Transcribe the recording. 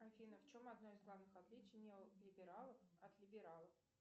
афина в чем одно из главных отличий неолибералов от либералов